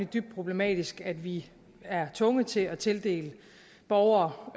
dybt problematisk at vi er tvunget til at tildele borgere